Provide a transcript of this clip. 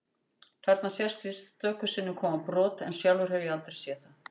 Þarna sést víst stöku sinnum koma brot en sjálfur hef ég aldrei séð það.